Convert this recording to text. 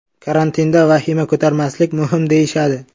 Karantinda vahima ko‘tarmaslik muhim deyishadi.